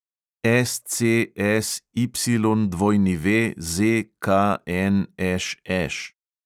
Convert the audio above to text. SCSYWZKNŠŠ